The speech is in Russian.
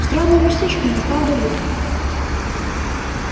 странное местечко не правда ли